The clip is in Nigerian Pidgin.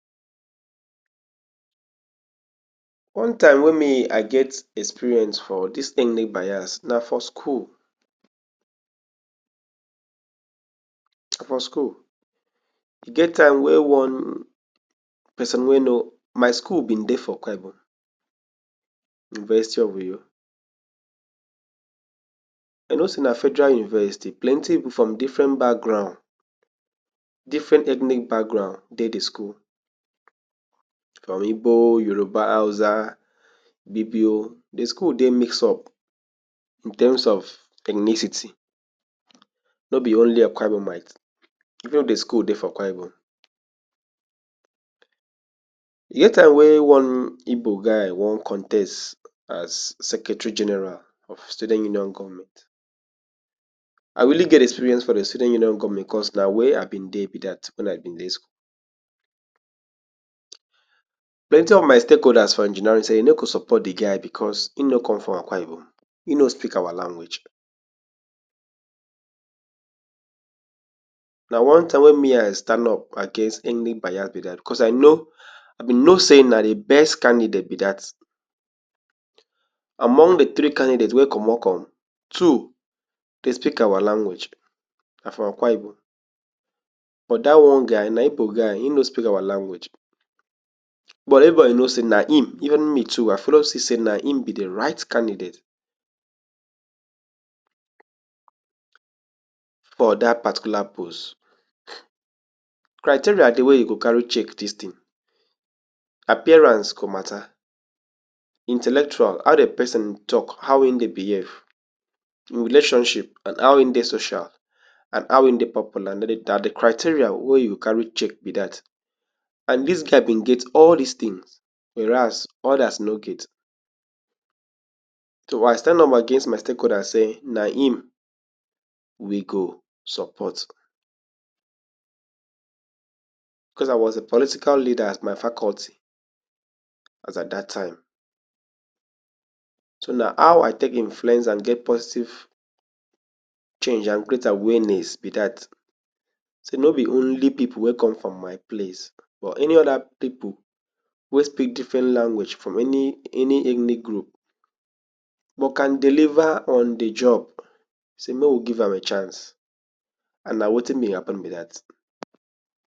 One time wey me I get experience for dis enic bias na for skul. Na for skull, e get time wey one person wey no my school be dey for Akwa Ibom, University of Uyo you know sey na Federal Uversity plenty pipu from differen background differen ethnic background dey de school, from Ibo, Yoruba, Hausa, Ibibio de school dey mix up in terms of ethnicity nor be only Akwaibomites even if de school dey for Akwa Ibom. E get time wey one Ibo guy wan contes as secretary general of student union government I really get experience for de student union government cos na where I be dey be dat when I be dey school. Plenty of my stake holders for engineering say e no go support de guy because e no com from Akwa Ibom e no speak our language na one time wey me I stand up against any bias be dat cos I know I be know sey na de best candidate be dat among de three candidate wey commot com two dey speak our language na from Akwa Ibom bo dat one guy na Ibo guy e nor speak our language. bo everybody know say na him evn me too I follow see sey na him be de right candidate for dat particular post. Criteria dey wey you go carry check dis tin appearance go matter, intellectual, how de person talk, how him dey behave him relationship and how e dey social and how e dey popular na de criteria wey you carry check be dat and dis guy be get all dis tins whereas odas no get so I stand up against my stake holders say na him we go support cos I was a political leader at my faculty as at dat time so na how I take influence and get positive change and create awareness be dat say no be only pipu wey come from my place but any oda pipu wey speak different language from any, any ethnic group but can deliver on di job sey make we give am a chance and na wetin me happen be dat.